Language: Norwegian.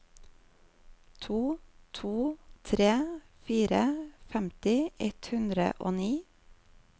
to to tre fire femti ett hundre og ni